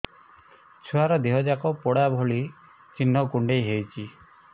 ଛୁଆର ଦିହ ଯାକ ପୋଡା ଭଳି ଚି଼ହ୍ନ କୁଣ୍ଡେଇ ହଉଛି